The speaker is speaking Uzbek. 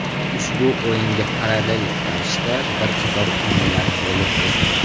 Ushbu o‘yinga parallel ravishda bir qator o‘yinlar bo‘lib o‘tdi.